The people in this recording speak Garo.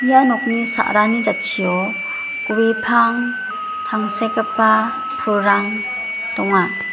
ia nokni sa·rani jatchio gue pang tangsekgipa pulrang donga.